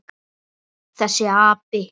Þessi api!